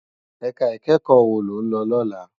Èká ikèékò wó ló n lò lòlá?